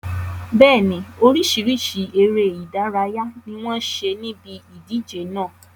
Bẹ́ẹ̀ni, oríṣiríṣi ère ìdárayá ni wọn ṣe níbi ìdíje náà